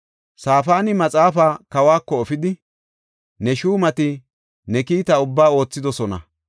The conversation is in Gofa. Safaani maxaafaa kawako efidi, “Ne shuumati ne kiitaa ubbaa oothidosona.